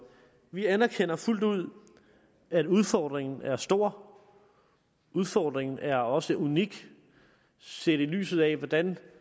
vi anerkender fuldt ud at udfordringen er stor udfordringen er også unik set i lyset af den